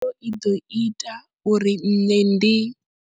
Khaelo i ḓo ita uri nṋe ndi.